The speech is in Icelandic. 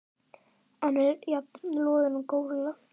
Hann er jafn loðinn og górilla.